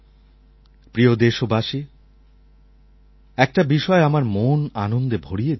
প্রিয় দেশবাসী একটি বিষয় আমার মন আনন্দে ভরিয়ে দিয়েছে